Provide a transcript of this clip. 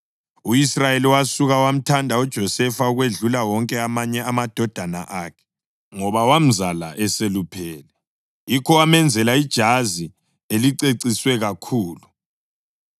U-Israyeli wasuka wamthanda uJosefa ukwedlula wonke amanye amadodana akhe, ngoba wamzala eseluphele; yikho wamenzela ijazi eliceciswe kakhulu.